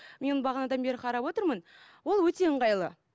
мен бағанадан бері қарап отырмын ол өте ыңғайлы